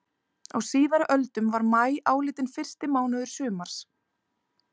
Á síðari öldum var maí álitinn fyrsti mánuður sumars.